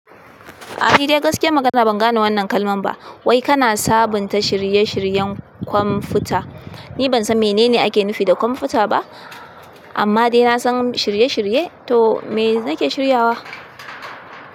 Ah nidai gaskiyan magana ban gane wannan kalman ba. Wai kana sabunta shirye-shiryen kwamfuta? Ni bansan menene ake nufi da kwamfuta ba, amma dai nasan shirye-shirye. To me nake shiryawa?